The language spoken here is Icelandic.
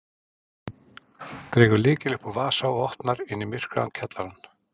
Dregur lykil upp úr vasa og opnar inn í myrkvaðan kjallarann.